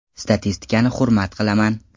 Statistikani hurmat qilaman.